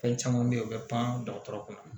Fɛn caman bɛ yen u bɛ pan dɔgɔtɔrɔ kunna